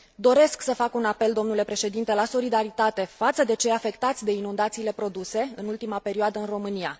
Doresc să fac un apel, domnule președinte, la solidaritate față de cei afectați de inundațiile produse în ultima perioadă în România.